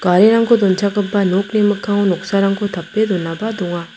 garirangko donchakgipa nokni mikkango noksarangko tape donaba donga.